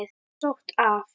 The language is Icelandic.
Sótt af